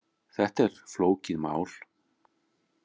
Þetta er flókið mál.